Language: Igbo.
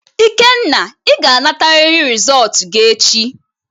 Ikenna, ị ga-anatarịrị rịzọlt gị echi!